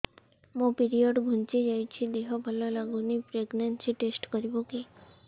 ମୋ ପିରିଅଡ଼ ଘୁଞ୍ଚି ଯାଇଛି ଦେହ ଭଲ ଲାଗୁନି ପ୍ରେଗ୍ନନ୍ସି ଟେଷ୍ଟ କରିବୁ କି